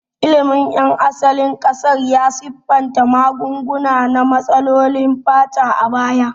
Ilimin ƴan asalin ƙasar ya siffanta magunguna na matsalolin fata a baya.